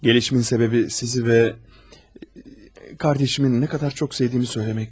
Gəlişimin səbəbi sizi və qardaşımın nə qədər çox sevdiyimi söyləmək idi.